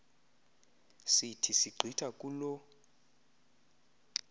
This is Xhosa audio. sithi sigqitha kuloo